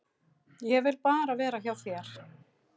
Ég vil bara vera hjá þér.